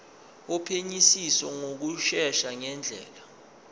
wophenyisiso ngokushesha ngendlela